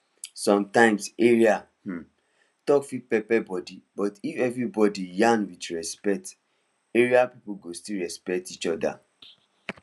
sometimes area um talk fit pepper body but if everybody yarn with respect area people go still respect each other